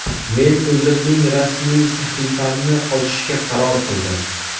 Men o‘zimning rasmiy sahifamni ochishga qaror qildim.